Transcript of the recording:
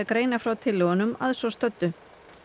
greina frá tillögunum að svo stöddu